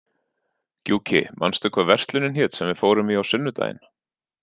Gjúki, manstu hvað verslunin hét sem við fórum í á sunnudaginn?